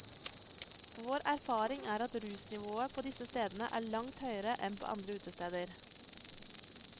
Vår erfaring er at rusnivået på disse stedene er langt høyere enn på andre utesteder.